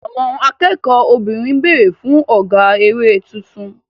Àwọn akẹ́kọ̀ọ́ obìnrin ń béèrè fún ọ̀gá eré tuntun.